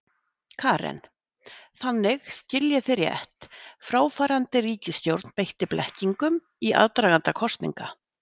Karen: Þannig, skil ég þig rétt, fráfarandi ríkisstjórn beitti blekkingum í aðdraganda kosninga?